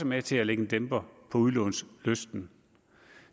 med til at lægge en dæmper på udlånslysten